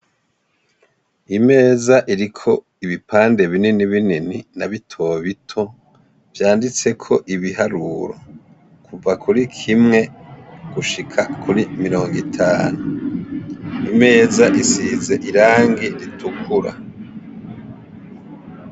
Imeza iriko ibipande binini binini na bito bito, vyanditseko ibiharuro, kuva kuri kimwe gushika kuri mirongitanu. Imeza isize irangi ritukura.